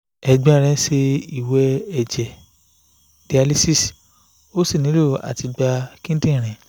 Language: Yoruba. ẹ̀gbọ́n mi ń ṣe ìwẹ̀ ẹ̀jẹ̀ (dialysis) ó sì nílò àtìgbà kíndìnrín